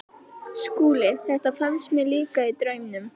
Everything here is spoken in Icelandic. SKÚLI: Þetta fannst mér líka- í draumnum.